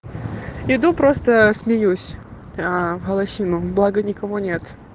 иду просто смеюсь аа в голосину благо никого нет